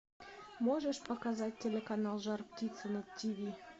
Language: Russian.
можешь показать телеканал жар птица на тиви